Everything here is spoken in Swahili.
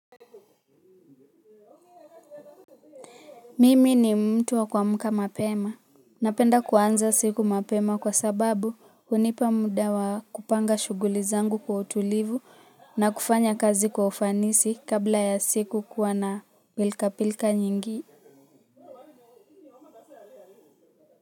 Mimi ni mtu wa kuamka mapema, napenda kuanza siku mapema kwa sababu hunipa muda wa kupanga shughuli zangu kwa utulivu na kufanya kazi kwa ufanisi kabla ya siku kuwa na pilkapilka nyingi.